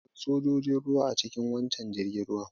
Akwai sojojin ruwa a cikin waccan jirgin ruwan.